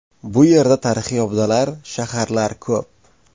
Bu yerda tarixiy obidalar, shaharlar ko‘p.